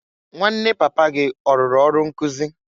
Nwanne papa gị ọrụrụ ọrụ nkụzị?